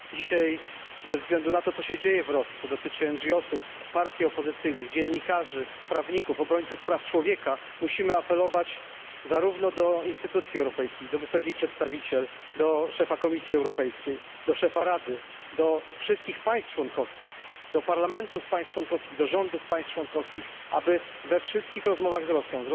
Dzisiaj, ze względu na to, co się dzieje w Rosji, co dotyczy organizacji pozarządowych, partii opozycyjnych, dziennikarzy, prawników, obrońców praw człowieka musimy apelować zarówno do instytucji europejskich, do wysokiej przedstawiciel, do szefa Komisji Europejskiej, do szefa Rady, do wszystkich państw członkowskich, do parlamentów państw członkowskich, do rządów państw członkowskich, aby we wszystkich rozmowach z Rosją,